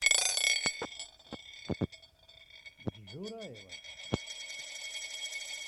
джураева